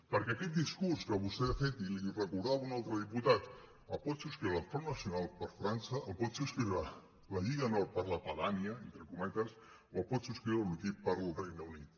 perquè aquest discurs que vostè ha fet i li ho recordava un altre diputat el pot subscriure el front nacional per frança el pot subscriure la lliga nord per la padània entre co·metes o el pot subscriure l’ukip pel regne unit